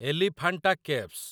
Elephanta caves